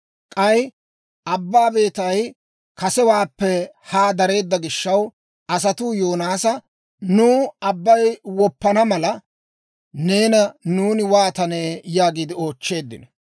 K'ay abbaa beetay kasewaappe haa dareedda gishaw, asatuu Yoonaasa, «Nuw abbay woppana mala, neena nuuni waatane?» yaagiide oochcheeddino.